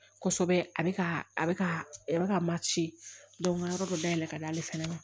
Kosɛbɛ a bɛ ka a bɛ ka mati n ka yɔrɔ dɔ dayɛlɛ ka d'ale fana ma